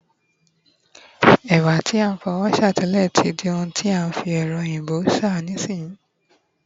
ẹwà ti a n fi ọwọ sá tẹle, ti di oun ti a n fi ẹrọ oyinbo sa nisinsinyi